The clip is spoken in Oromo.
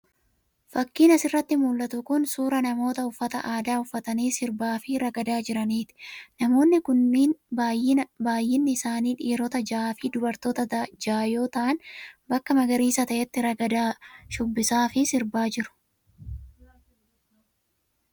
Fakkiin as irratti mul'atu kun, suura namoota uffata aadaa uffatanii sirbaa fi ragadaa jiraniiti. Namoonni kun ,baay'inni isaanii dhiiroota ja'a fi dubartoota ja'a yoo ta'an, bakka magariisa ta'etti ragadaa, shubbisaa fi sirbaa jiru.